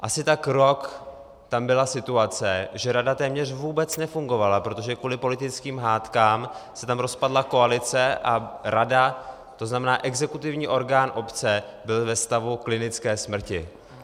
Asi tak rok tam byla situace, že rada téměř vůbec nefungovala, protože kvůli politickým hádkám se tam rozpadla koalice a rada, to znamená exekutivní orgán obce, byla ve stavu klinické smrti.